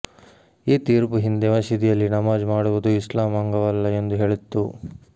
ಈ ತೀರ್ಪು ಹಿಂದೆ ಮಸೀದಿಯಲ್ಲಿ ನಮಾಜ್ ಮಾಡುವುದು ಇಸ್ಲಾಮ್ ಅಂಗವಲ್ಲ ಎಂದು ಹೇಳಿತ್ತು